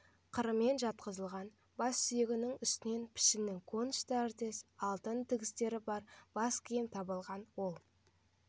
қырымен жатқызылған бас сүйегінің үстінен пішіні конус тәріздес алтын тігістері бар бас киім табылған ол